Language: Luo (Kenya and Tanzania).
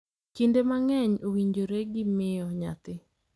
Kinde mang’eny, owinjore gi miyo nyathi.